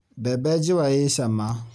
Mbembe njũa i cama.